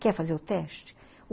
Quer fazer o teste?